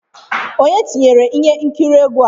Onye tinyere ihe nkiri egwu a?